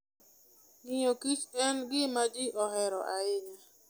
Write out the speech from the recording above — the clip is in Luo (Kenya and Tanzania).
Ng'iyo kich en gima ji ohero ahinya.